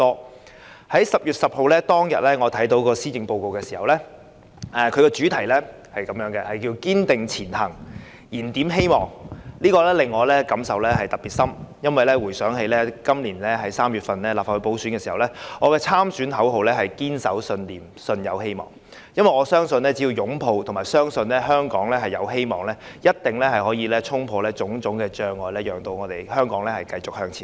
我在10月10日看到施政報告的主題是"堅定前行燃點希望"時，我的感受特別深。原因是我回想今年3月參加立法會補選時，我的參選口號是"堅守信念舜有希望"，因為我相信只要擁抱和相信香港有希望，便一定能衝破種種障礙，讓香港繼續向前走。